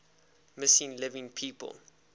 missing living people